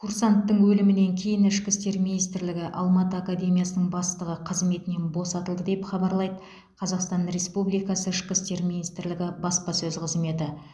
курсанттың өлімінен кейін ішкі істер министрлігі алматы академиясының бастығы қызметінен босатылды деп хабарлайды қазақстан республикасы ішкі істер министрлігі баспасөз қызметі